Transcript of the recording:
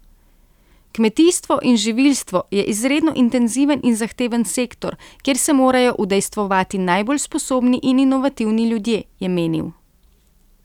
Kmetijstvo in živilstvo je izredno intenziven in zahteven sektor, kjer se morajo udejstvovati najbolj sposobni in inovativni ljudje, je menil.